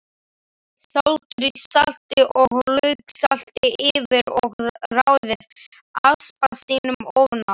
Sáldrið salti og lauksalti yfir og raðið aspasinum ofan á.